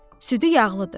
Südü yağlıdır.